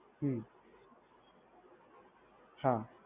હમ્મ હા.